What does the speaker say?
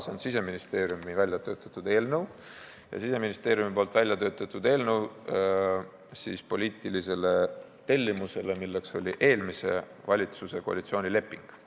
See on Siseministeeriumi väljatöötatud eelnõu ja see põhineb poliitilisel tellimusel, milleks oli eelmise valitsuse koalitsioonileping.